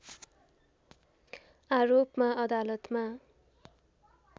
आरोपमा अदालतमा